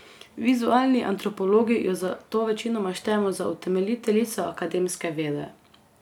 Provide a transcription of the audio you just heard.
Vizualni antropologi jo zato večinoma štejemo za utemeljiteljico akademske vede.